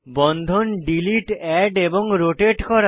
বন্ধন delete add এবং rotate করা